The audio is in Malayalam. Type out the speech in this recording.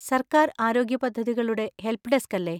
സർക്കാർ ആരോഗ്യ പദ്ധതികളുടെ ഹെല്പ് ഡെസ്ക് അല്ലേ?